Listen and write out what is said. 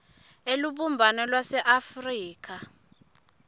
elubumbano lwase afrika